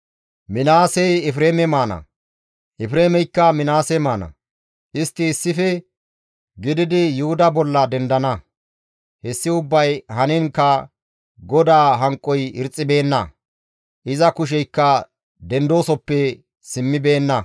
Minaasey Efreeme maana; Efreemeykka Minaase maana; istti issife gididi Yuhuda bolla dendana. Hessi ubbay haniinkka GODAA hanqoy irxxibeenna; iza kusheykka dendidasoppe simmibeenna.